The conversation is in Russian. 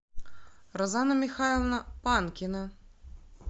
розана михайловна панкина